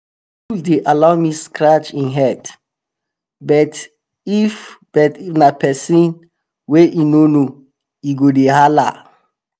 my bull dey allow me scratch em head but if but if na pesin wey em no know e go dey hala.